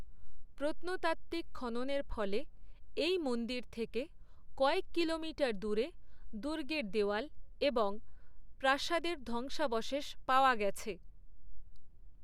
প্রত্নতাত্ত্বিক খননের ফলে এই মন্দির থেকে কয়েক কিলোমিটার দূরে দুর্গের দেয়াল এবং প্রাসাদের ধ্বংসাবশেষ পাওয়া গেছে।